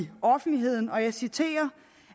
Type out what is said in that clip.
offentligheden og jeg citerer